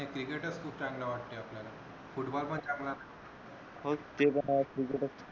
क्रिकेटच खूप चांगल वाटत आपल्याला फुटबॉल पण चांगला हो ते बर वाटतय